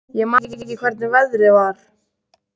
Ég man ekki hvernig veðrið var.